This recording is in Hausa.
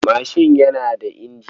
Mashin yana da injin.